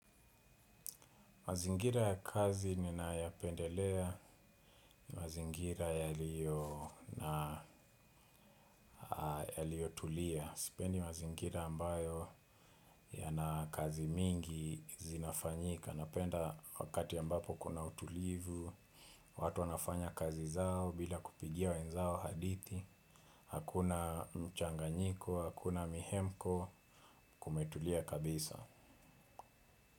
Mazingira ya kazi ninayapendelea, mazingira yaliyo na Yaliyotulia. Sipendi mazingira ambayo yana kazi mingi zinafanyika. Napenda wakati ambapo kuna utulivu, watu wanafanya kazi zao bila kupigia wenzao hadithi. Hakuna mchanganyiko, hakuna mihemko, kumetulia kabisa.